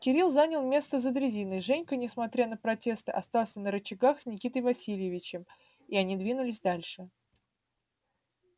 кирилл занял место за дрезиной женька несмотря на протесты остался на рычагах с никитой васильевичем и они двинулись дальше